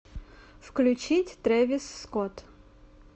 включить трэвис скотт